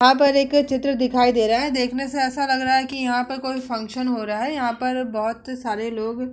यहाँ पर एक चित्र दिखाई दे रहा है। देखने से ऐसा लग रहा है यहाँ पर कोई फंक्शन हो रहा है। यहाँ पर बहोत सारे लोग --